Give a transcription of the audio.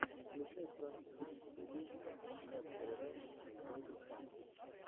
включай пранк кидс ти ви нерсери раймс энд бэби сонгс